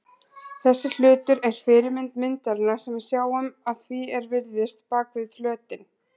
Þessi hlutur er fyrirmynd myndarinnar sem við sjáum að því er virðist bak við flötinn.